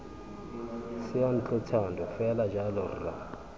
seyantlo thando fela jalo rra